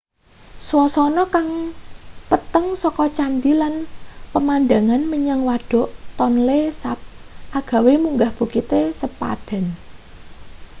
swasana kang peteng saka candhi lan pemandangan menyang wadhuk tonle sap agawe munggah bukite sepadan